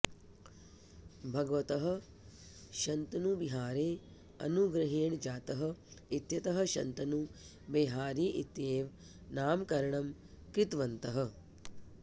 भगवतः शन्तनुबिहारेः अनुग्रहेण जातः इत्यतः शन्तनु बेहारी इत्येव नामकरणं कृतवन्तः